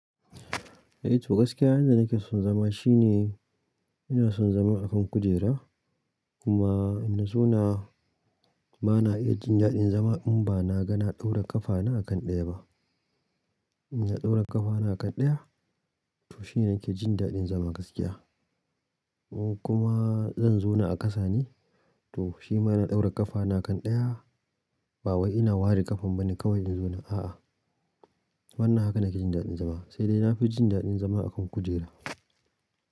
Eh to gaskiya inda nake son zama shine ina son zama a kan kujera kuma in na zauna bana iya jin daɗin zama in ba na gana ɗaura ƙafana a kan ɗaya ba. Inna ɗaura ƙafana a kan ɗaya, to shine nake jin daɗin zama gaskiya. Kuma zan zauna a ƙasa ne, to shi ma ina ɗaura ƙafana kan ɗaya ba wai ina ware kafan bane kawai in zauna, a'a. Wannan haka nake jin daɗin zama. Sai dai na fi jin daɗin zama a kan kujera.